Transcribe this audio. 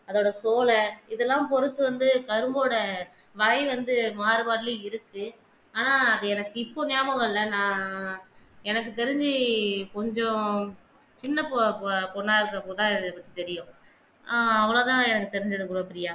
வந்து கரும்போட வகை வந்து இருக்கு ஆனா அது எனக்கு இப்ப ஞாபகம் இல்ல நான் எனக்கு தெரிஞ்சி கொஞ்சம் சின்ன தெரியும் ஆஹ் அவ்வளவு தான் எனக்கு தெரிஞ்சது குணப்ரியா.